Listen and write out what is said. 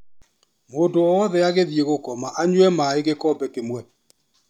Mũndũ wothe agĩthiĩ gũkoma anyue maĩ gĩkombe kĩmwe.